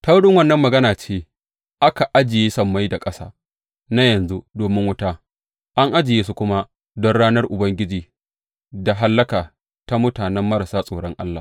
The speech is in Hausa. Ta wurin wannan magana ce aka ajiye sammai da ƙasa na yanzu domin wuta, an ajiye su kuma don ranar hukunci da hallaka ta mutane marasa tsoron Allah.